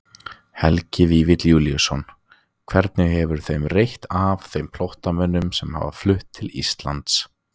Helgi Vífill Júlíusson: Hvernig hefur þeim reitt af, þeim flóttamönnum sem hafa flutt til Íslands?